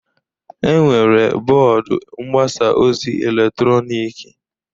Enwere bọọdụ mgbasa ozi eletrọnịkị